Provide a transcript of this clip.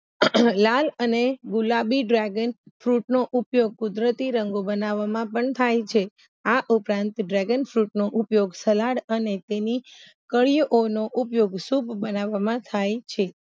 લાલ અને ગુલાબી Dragon Fruit નો ઉપયોગ કુદરતી રંગો બનાવામાં પણ થાય છે આ ઉપરાંત Dragon Fruit નો ઉપયોગ સલાડ અને તેની નો ઉપયોગ સૂપ બનાવામાં થાય છે